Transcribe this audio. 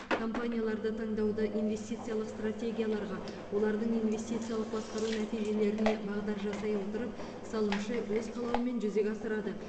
компанияларды таңдауды инвестициялық стратегияларға олардың инвестициялық басқару нәтижелеріне бағдар жасай отырып салымшы өз қалауымен жүзеге асырады